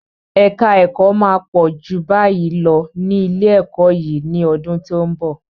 Èka ẹ̀kọ́ máa pọ̀ ju báyìí lọ ní ilé-ẹ̀kọ́ yìí ní ọdún tí ó ń bọ̀.